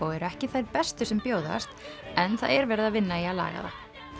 eru ekki þær bestu sem bjóðast en það er verið að vinna í að laga það